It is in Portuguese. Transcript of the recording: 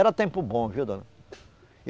Era tempo bom, viu dona?